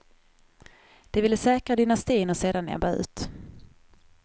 De vill säkra dynastin och sedan ebba ut.